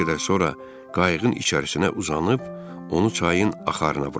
Bir qədər sonra qayıığın içərisinə uzanıb, onu çayın axarına buraxdım.